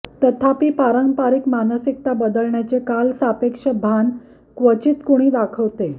तथापि पारंपरिक मानसिकता बदलण्याचे कालसापेक्ष भान क्वचित कुणी दाखवते